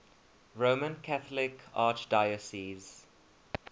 roman catholic archdiocese